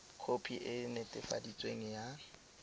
khopi e e netefaditsweng ya